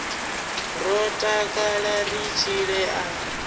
ro takala ri tshile a